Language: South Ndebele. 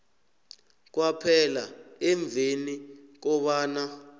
kwaphela emveni kobana